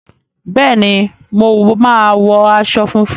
Bẹẹni, mo máa wọ aṣọ funfun.